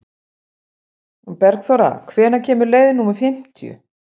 Bergþóra, hvenær kemur leið númer fimmtíu?